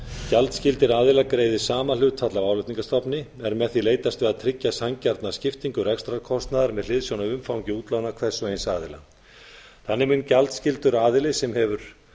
gjaldskyldir aðilar greiði sama hlutfall af álagningarstofni er með því leitast við að tryggja sanngjarna skiptingu rekstrarkostnaðar með hliðsjón af umfangi útlána hvers og eins aðila þannig mun gjaldskyldur aðili sem hefur